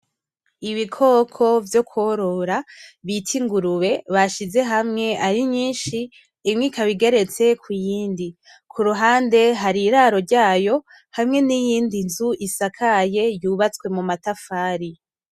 Ibikoko vyo korora bita ingurube bashize hamwe ari nyishi imwe ikaba igeretse ku yindi kuruhande hari iraro ryayo hamwe n'iyindi nzu isakaye yubatswe mu matafari.